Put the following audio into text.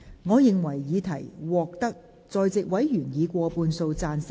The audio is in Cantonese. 我認為議題獲得在席委員以過半數贊成。